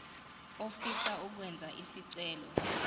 ofisa ukwenza isicelo